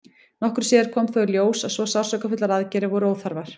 nokkru síðar kom þó í ljós að svo sársaukafullar aðgerðir voru óþarfar